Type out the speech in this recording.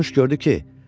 Pərinüş gördü ki,